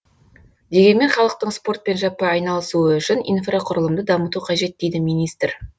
дегенмен халықтың спортпен жаппай айналысуы үшін инфрақұрылымды дамыту қажет дейді министр